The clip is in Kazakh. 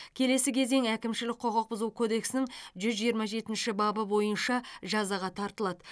келесі кезең әкімшілік құқық бұзу кодексінің жүз жиырма жетінші бабы бойынша жазаға тартылады